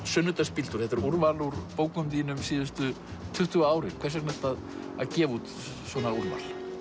sunnudagsbíltúr er úrval úr bókum þínum síðustu tuttugu árin hvers vegna ertu að gefa út svona úrval